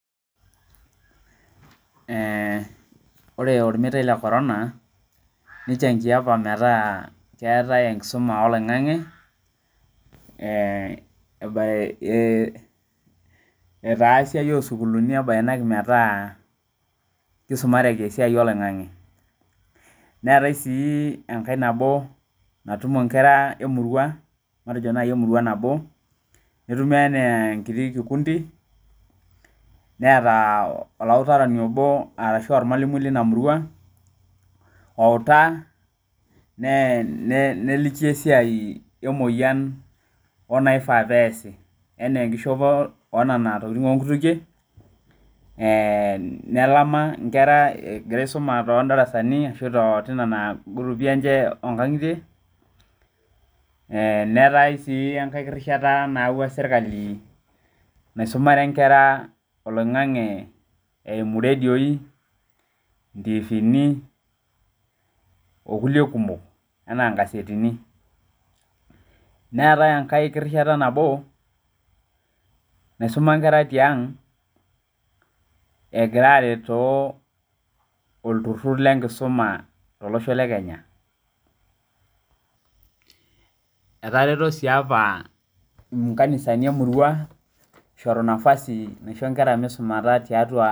Ore ormeitai lee chorana nichangia apa metaa keetae enkisuma oloingange etaa siai oo sukukini eboyinaki metaa kisumareki esiai oloingange neetae sii enkae nabo natumo enkera emurua nabo netumoki enaa enkiti kikundi netaa olawutaroni obo ashu ormalimui obo leina murua owutaa neliki esiai emoyian enifaa pee eyasi enaa enkishopo oo Nena tokitin oo nkutukie nelama Nkera egira aisuma todarasani ashu too Nena gurupii enye oo nkang'itie neetae sii enkae kirishata nayawua sirkali naisumare enkera oloingange eyimu radio, tivini oo kulie kumok enaa nkasetini neetae enkae kirishata nabo naisuma enkera tiang egira are too olturur lee nkisuma tolosho lee Kenya etareto sii apa nkanisani emurua eishorua nafasi aishoo Nkera maisumata tiatua